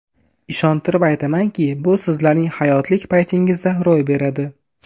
Ishontirib aytamanki, bu sizlarning hayotlik paytingizda ro‘y beradi.